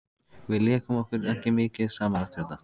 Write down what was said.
Við lékum okkur ekki mikið saman eftir þetta.